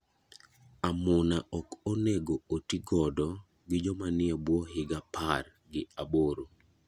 Amuna ok onego oti godo gi joma nie buo higa par gi aboro.